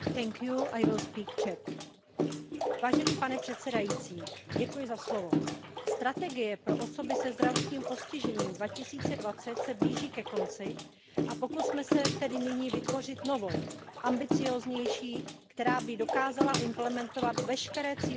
Pane předsedající, strategie pro osoby se zdravotním postižením 2020 se blíží ke konci a pokusme se tedy nyní vytvořit novou, ambicióznější, která by dokázala implementovat veškeré cíle Úmluvy o právech osob se zdravotním postižením.